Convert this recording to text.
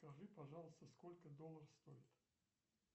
скажи пожалуйста сколько доллар стоит